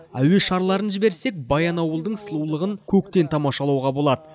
әуе шарларын жіберсек баянауылдың сұлулығын көктен тамашалауға болады